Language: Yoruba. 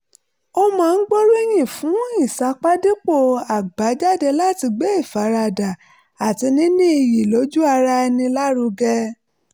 ó máa ń gbóríyìn fún ìsapá dípò àbájáde láti gbé ìfaradà àti níní iyì lójú ara ẹni lárugẹ